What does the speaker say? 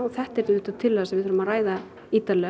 þetta er tillaga sem við þurfum að ræða ítarlega